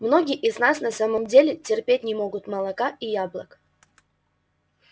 многие из нас на самом деле терпеть не могут молока и яблок